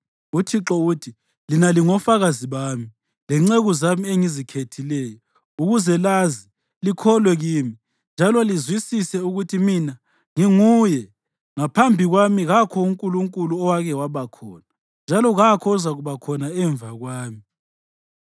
UThixo uthi, “Lina lingofakazi bami, lenceku zami engizikhethileyo, ukuze lazi, likholwe kimi, njalo lizwisise ukuthi mina nginguye. Ngaphambi kwami kakho unkulunkulu owake wabakhona, njalo kakho ozakuba khona emva kwami.